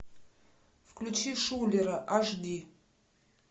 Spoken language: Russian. включи шулера аш ди